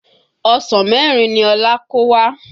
Ọsàn mẹ́rin ni Ọlá kó wá